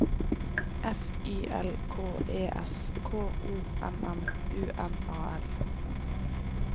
F Y L K E S K O M M U N A L